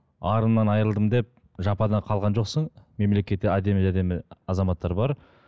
арыңнан айырылдым деп жапада қалған жоқсың мемлекетте әдемі әдемі азаматтар бар